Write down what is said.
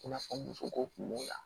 I n'a fɔ muso ko kun b'o la